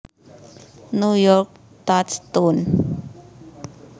New York Touchstone